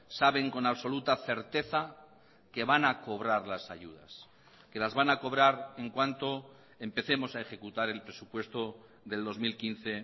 saben con absoluta certeza que van a cobrar las ayudas que las van a cobrar en cuanto empecemos a ejecutar el presupuesto del dos mil quince